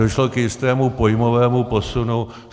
Došlo k jistému pojmovému posunu.